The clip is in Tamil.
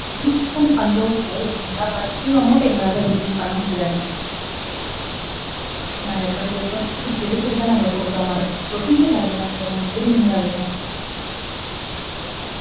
refund பண்றோ sir okay ங்களா, but full amount எங்களால refund பண்ண முடியாதுங்க sir. நாங்க twenty five percentage எடுத்துட்டு தான் நாங்க குடுக்குற மாதிரி இருக்கும். procedure அதுதாங்க sir உங்களுக்கு புரியுதுங்களா இல்லையா?